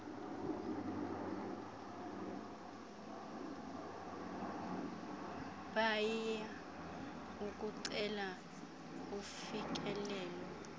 paia ukucela ufikelelo